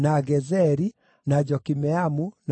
na Jokimeamu, na Bethi-Horoni,